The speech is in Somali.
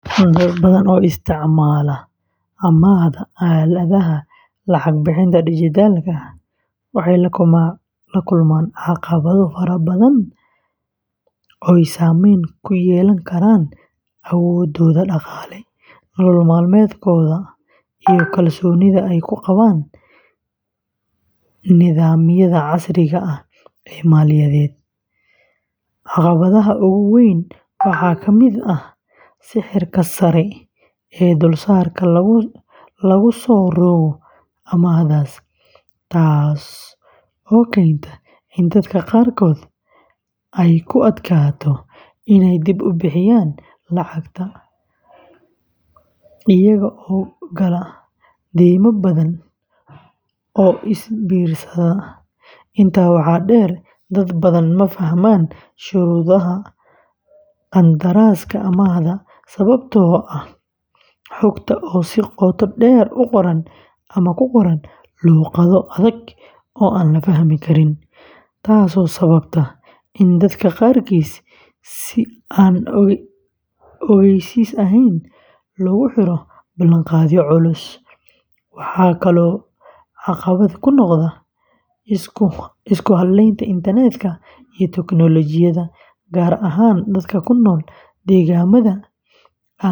Dad badan oo isticmaala amaahda aaladaha lacag-bixinta dijitaalka ah waxay la kulmaan caqabado fara badan oo saamayn ku yeelan kara awooddooda dhaqaale, nolol maalmeedkooda, iyo kalsoonida ay ku qabaan nidaamyada casriga ah ee maaliyadeed. Caqabadaha ugu waaweyn waxaa ka mid ah sicirka sare ee dulsaarka lagu soo rogo amaahdaas, taas oo keenta in dadka qaarkood ay ku adkaato inay dib u bixiyaan lacagta, iyaga oo gala deyma badan oo is biirsata. Intaa waxaa dheer, dad badan ma fahmaan shuruudaha qandaraaska amaahda sababtoo ah xogta oo si qoto dheer u qoran ama ku qoran luqado adag oo aan la fahmi karin, taasoo sababta in dadka qaarkiis si aan ogeysiis ahayn loogu xiro ballanqaadyo culus. Waxaa kaloo caqabad ku noqda isku halaynta internet-ka iyo tiknoolajiyadda, gaar ahaan dadka ku nool deegaannada.